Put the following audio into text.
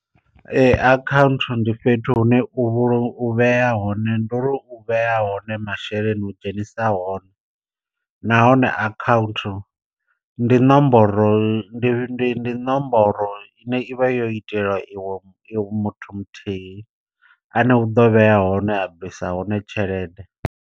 Akhaunthu ndi fhethu hune u vhulu u hone ndo ri u vhea hone masheleni u dzhenisa hone. Nahone akhaunthu ndi nomboro ndi ndi ndi nomboro ine ivha yo itelwa iwe iwe muthu muthihi ane u ḓo vhea hone a bvisa hone tshelede.